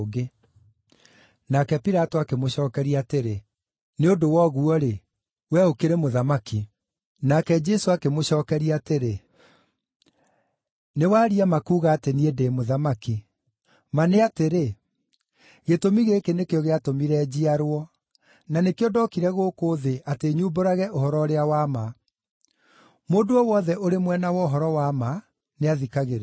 Nake Pilato akĩmũcookeria atĩrĩ, “nĩ ũndũ wa ũguo-rĩ, wee ũkĩrĩ Mũthamaki!” Nake Jesũ akĩmũcookeria atĩrĩ, “Nĩwaria ma kuuga atĩ niĩ ndĩ Mũthamaki. Ma nĩ atĩrĩ, gĩtũmi gĩkĩ nĩkĩo gĩatũmire njiarwo, na nĩkĩo ndokire gũkũ thĩ atĩ nyumbũrage ũhoro ũrĩa wa ma. Mũndũ o wothe ũrĩ mwena wa ũhoro wa ma nĩathikagĩrĩria.”